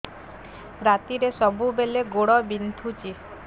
ରାତିରେ ସବୁବେଳେ ଗୋଡ ବିନ୍ଧୁଛି